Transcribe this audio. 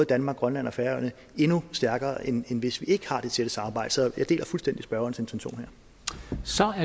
danmark grønland og færøerne endnu stærkere end hvis vi ikke har det tætte samarbejde så jeg deler fuldstændig spørgerens intention